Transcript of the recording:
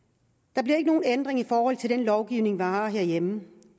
der bliver ikke nogen ændring i forhold til den lovgivning vi har herhjemme